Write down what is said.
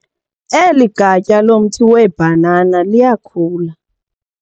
Eli gatya lomthi weebhanana liyakhula.